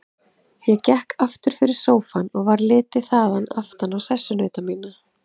Ég gekk aftur fyrir sófann og varð litið þaðan aftan á sessunauta mína.